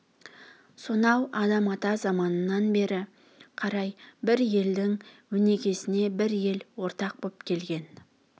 сонау адам-ата заманынан бері қарай бір елдің өнегесіне бір ел ортақ боп келген